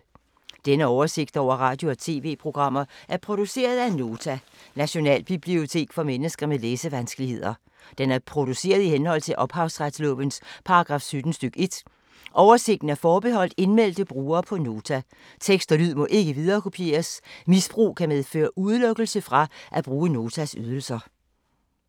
Denne oversigt over radio og TV-programmer er produceret af Nota, Nationalbibliotek for mennesker med læsevanskeligheder. Den er produceret i henhold til ophavsretslovens paragraf 17 stk. 1. Oversigten er forbeholdt indmeldte brugere på Nota. Tekst og lyd må ikke viderekopieres. Misbrug kan medføre udelukkelse fra at bruge Notas ydelser.